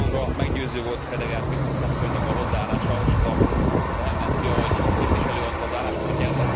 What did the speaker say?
Számomra meggyőző volt Hedegaard biztos asszonynak a hozzáállása és az a vehemencia, ahogy itt is előadta az álláspontját.